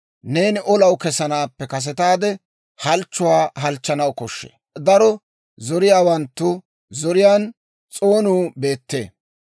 Neeni olaw kesanaappe kasetaade halchchuwaa halchchanaw koshshee; daro zoriyaawanttu zoriyaan s'oonuu beettee.